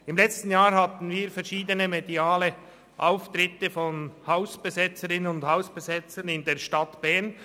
Im letzten Jahr hatten wir verschiedene mediale Auftritte von Hausbesetzerinnen und Hausbesetzern in der Stadt Bern.